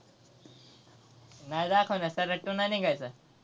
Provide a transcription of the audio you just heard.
नाय दाखवणार सैराट two नाही निघायचा.